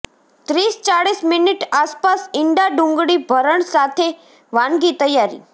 ત્રીસ ચાળીસ મિનિટ આસપાસ ઇંડા ડુંગળી ભરણ સાથે વાનગી તૈયારી